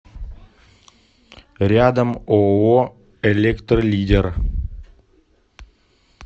рядом ооо электролидер